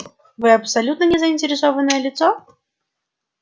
вы абсолютно не заинтересованное лицо